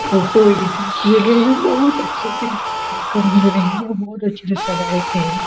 Photo editing किए गए है बहुत अच्छे से रही है बहुत अच्छे से सजाये गए हैं।